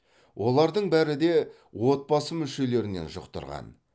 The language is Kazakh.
олардың бәрі де отбасы мүшелерінен жұқтырған